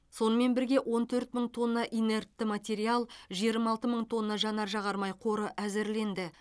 сонымен бірге он төрт мың тонна инертті материал жиырма алты мың тонна жанар жағармай қоры әзірленді